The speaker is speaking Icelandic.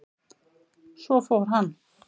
Svo fór hann.